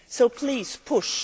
So please, push.